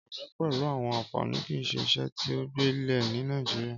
Ọrẹ pẹlu àwọn anfani kii ṣe iṣe ti o gbilẹ ni Nàìjíríà.